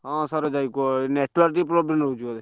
ହଁ ସରୋଜ ଭାଇ କୁହ network ଟିକେ problem ରହୁଛି ବୋଧେ।